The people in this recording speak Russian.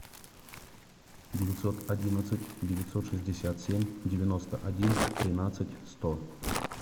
девятьсот одиннадцать девятьсот шестьдесят семь девяносто один тринадцать сто